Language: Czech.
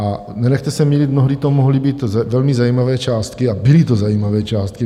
A nenechte se mýlit, mnohdy to mohly být velmi zajímavé částky, a byly to zajímavé částky.